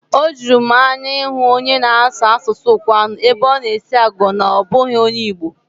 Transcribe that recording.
Ọ juru m anya ịhụ onye na-asụ asụsụ Ụkwụani ebe ọ na-esi agụgọ na ọ bụghị onye Igbo.